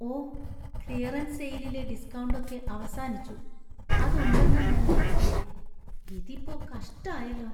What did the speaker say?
ഓ! Clearance സെയിലിലെ discount ഒക്കെ അവസാനിച്ചു. അത് ഉണ്ടെന്നാ ഞാൻ കരുതിയേ, ഇതിപ്പോ കഷ്ടായല്ലോ.